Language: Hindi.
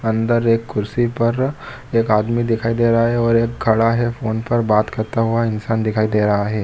अंदर एक कुर्सी पर एक आदमी दिखाई दे रहा है और एक खड़ा है फोन पर बात करता हुआ इंसान दिखाई दे रहा है।